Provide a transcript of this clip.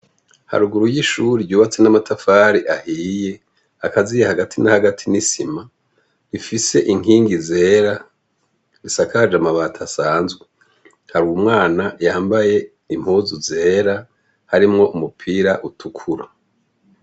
Haruguru y'ishure ryubatse n'amatafari ahiye, akaziye hagati na hagati n'isima, rifise inkingi zera, risakaje amabati asanzwe. Hari umwana yambaye impuzu zera harimwo umupira utukura.